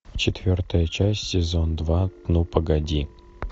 четвертая часть сезон два ну погоди